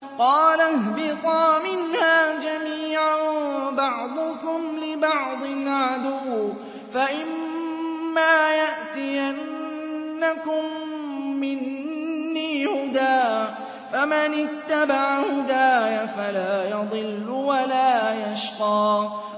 قَالَ اهْبِطَا مِنْهَا جَمِيعًا ۖ بَعْضُكُمْ لِبَعْضٍ عَدُوٌّ ۖ فَإِمَّا يَأْتِيَنَّكُم مِّنِّي هُدًى فَمَنِ اتَّبَعَ هُدَايَ فَلَا يَضِلُّ وَلَا يَشْقَىٰ